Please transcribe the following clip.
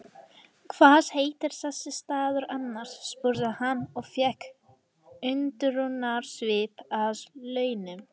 Hvað heitir þessi staður annars? spurði hann og fékk undrunarsvip að launum.